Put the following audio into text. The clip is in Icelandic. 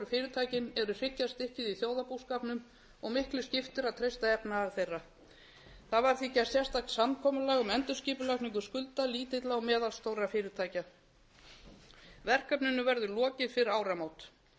fyrirtækin eru hryggjarstykkið í þjóðarbúskapnum og miklu skiptir að treysta efnahag þeirra það var því gerð sérstakt samkomulag um endurskipulagningu skulda lítilla og meðalstórra fyrirtækja verkefninu verður lokið fyrir áramót